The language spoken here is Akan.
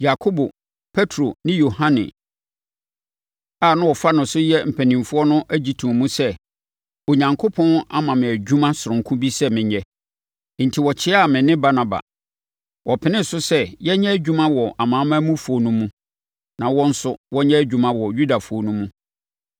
Yakobo, Petro ne Yohane a na wɔfa no sɛ wɔyɛ mpanimfoɔ no gye too mu sɛ, Onyankopɔn ama me dwuma sononko bi sɛ menyɛ, enti wɔkyeaa me ne Barnaba. Wɔpenee so sɛ yɛnyɛ adwuma wɔ amanamanmufoɔ no mu na wɔn nso wɔnyɛ adwuma wɔ Yudafoɔ no mu.